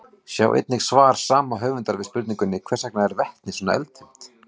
Sjá einnig svar sama höfundar við spurningunni Hvers vegna er vetni svona eldfimt?